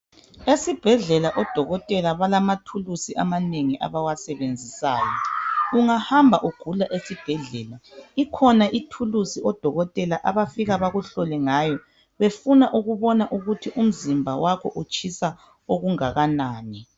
Esibhedlela odokotela balamathulisi amanengi abawasebenzisayo , ungahambi ugula esibhedlela, ikhona ithulusi odokotela abafika bakuhlole ngayo befuna ukubona ukuthi umzimba wakho utshisa okungakanani